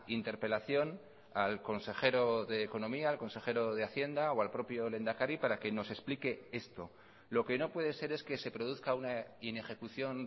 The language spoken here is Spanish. interpelación al consejero de economía al consejero de hacienda o al propio lehendakari para que nos explique esto lo que no puede ser es que se produzca una inejecución